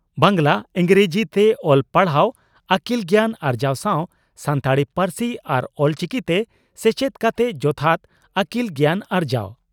ᱵᱟᱝᱜᱽᱞᱟ ᱤᱸᱜᱽᱨᱟᱹᱡᱤ ᱛᱮ ᱚᱞ ᱯᱟᱲᱦᱟᱣ ᱟᱹᱠᱤᱞ ᱜᱮᱭᱟᱱ ᱟᱨᱡᱟᱣ ᱥᱟᱣ ᱥᱟᱱᱛᱟᱲᱤ ᱯᱟᱹᱨᱥᱤ ᱟᱨ ᱚᱞᱪᱤᱠᱤᱛᱮ ᱥᱮᱪᱮᱫ ᱠᱟᱛᱮ ᱡᱚᱛᱷᱟᱛ ᱟᱹᱠᱤᱞ ᱜᱮᱭᱟᱱ ᱟᱨᱡᱟᱣ ᱾